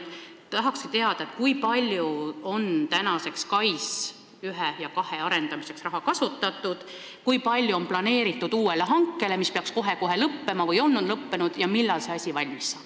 Tahakski teada, kui palju on tänaseks SKAIS1 ja SKAIS2 arendamiseks raha kasutatud, kui palju on planeeritud uue hanke tarbeks, mis peaks kohe-kohe lõppema või on lõppenud, ja millal see asi valmis saab.